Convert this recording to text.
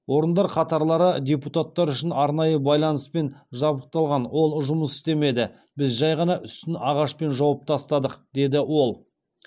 орындар қатарлары депутаттар үшін арнайы байланыспен жабдықталған ол жұмыс істемеді біз жай ғана үстін ағашпен жауып тастадық деді ол